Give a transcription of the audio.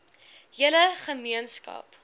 hele ge meenskap